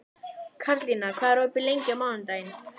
Karlína, hvað er opið lengi á mánudaginn?